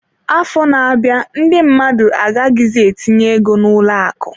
Afọ na-abịa, ndị mmadụ agaghịzi etinye ego n'ụlọ akụ.